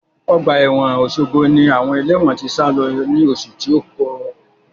Ọgbà ẹ̀wọ̀n Osogbo ni àwọn ẹlẹ́wọ̀n tí sálo ní oṣù tí ó lọ.